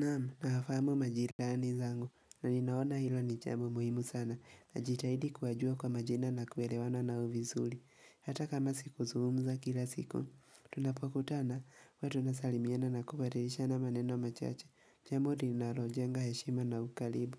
Naam, nawafahamu majirani zangu. Na ninaona hilo ni jambo muhimu sana, najitahidi kuwajua kwa majina na kuelewana nao visuli, hata kama sikuzungumza kila siku Tunapokutana, huwa tunasalimiana na kubadilishana maneno machache jambo linarojenga heshima na ukalibu,